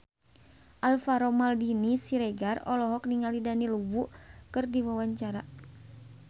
Alvaro Maldini Siregar olohok ningali Daniel Wu keur diwawancara